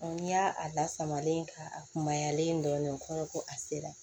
n'i y'a a lasamalen k'a kunbayalen dɔɔnin ko a sera